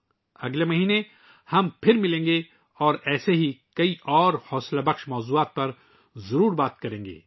ہم اگلے ماہ دوبارہ ملیں گے اور اس طرح کے بہت سے حوصلہ افزا موضوعات پر ضرور بات کریں گے